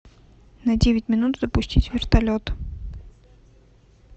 на девять минут запустить вертолет